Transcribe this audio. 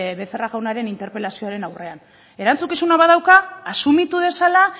becerra jaunaren interpelazioaren aurrean erantzukizuna badauka asumitu dezala